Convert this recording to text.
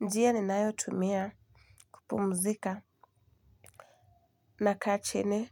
Njia ninayotumia kupumzika, nakaa chini